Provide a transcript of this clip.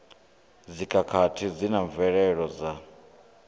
dzikhakhathi zwi na mvelelo dza